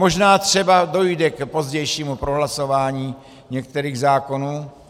Možná třeba dojde k pozdějšímu prohlasování některých zákonů.